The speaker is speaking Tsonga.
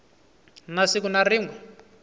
na siku na rin we